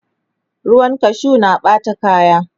ruwan kashu na Ɓata kaya